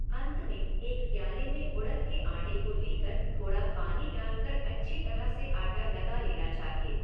अंत में एक प्याले में उड़द के आटे को लेकर थोड़ा पानी डाल कर अच्छी तरह से आटा लगा लेना चाहिए।